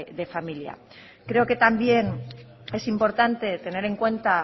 de familia creo que también es importante tener en cuenta